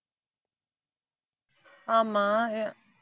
ஆமா